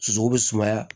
Sosow bɛ sumaya